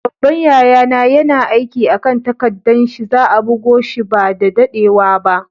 Babban yaya na yana aiki a'kan takaddan shi. Za'a bugo shi ba da daddewa ba.